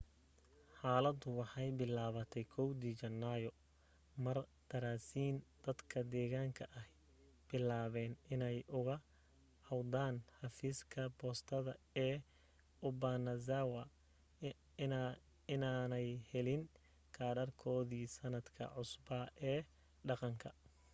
xaaladu waxay bilaabantay 1dii janaayo mar daraasiin dadka deegaanka ahi bilaabeen inay uga cawdaan xafiiska boostada ee obanazawa inaanay helin kaadhadhkoodii sannadka cusbaa ee dhaqanka